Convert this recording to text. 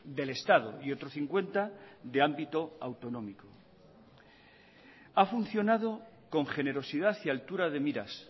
del estado y otro cincuenta de ámbito autonómico ha funcionado con generosidad y altura de miras